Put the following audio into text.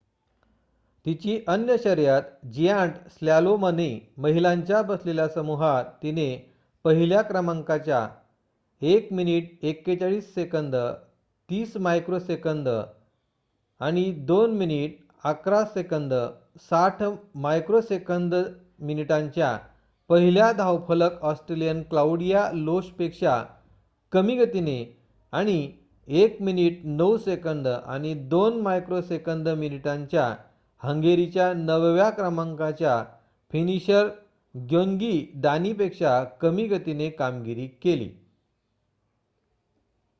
तिची अन्य शर्यत जियांट स्लॅलोमने महिलांच्या बसलेल्या समूहात तिने पहिल्या क्रमांकाच्या 4:41.30 2:11.60 मिनिटांच्या पहिल्या धावफलक ऑस्ट्रेलियन क्लाउडिया लोशपेक्षा कमी गतीने आणि 1:09.02 मिनिटांनी हंगेरीच्या नवव्या क्रमांकाच्या फिनिशर ग्योन्गी दाणी पेक्षा कमी गतीने कामगिरी केली